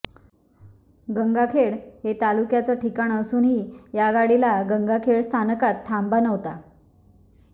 गंगाखेड हे तालुक्याचं ठिकाण असूनही या गाडीला गंगाखेड स्थानकात थांबा नव्हता